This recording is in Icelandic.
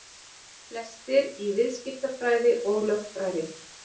Flestir í viðskiptafræði og lögfræði